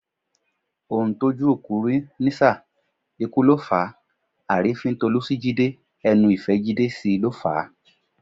Ohun tójú òkú rí nísà, ikú ló fàá; àrífín Tolú sí Jídé, ẹnu ìfẹ́ Jídé sí i ló fà á.